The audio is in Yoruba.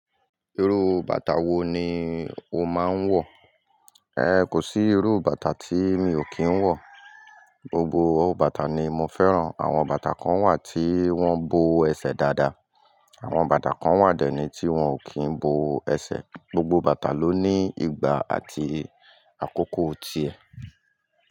Irú bàtà wo ni o máa ń wọ̀? Ẹhn kò sí irú bàtà tí mi ò kì ń wọ̀, gbogbo bàtà ni mo fẹ́ràn. Àwọn bàtà kan wà tí wọ́n bo o ẹsẹ̀ dáadáa, àwọn bàtà kan wà dẹ̀ ni tí wọ́n ò kí ń bo o ẹsẹ̀. Gbogbo bàtà ló ní ìgbà àti àkókò ti ẹ.